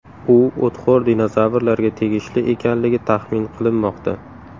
U o‘txo‘r dinozavrlarga tegishli ekanligi taxmin qilinmoqda.